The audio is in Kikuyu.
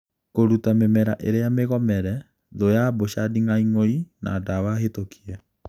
kũruta mĩmera ĩrĩa mĩgomere ,thũ ya mboca-nding'aing'oi na dawa hĩtũkie.